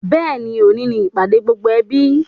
Bẹ́ẹ̀ni, òní ni ìpàdé gbogbo ẹbí